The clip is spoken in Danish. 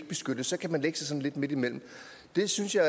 beskyttes og at man ikke sådan lidt midtimellem det synes jeg